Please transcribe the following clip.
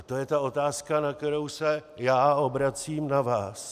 A to je ta otázka, se kterou se já obracím na vás.